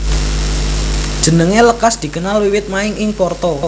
Jenengé lekas dikenal wiwit main ing Porto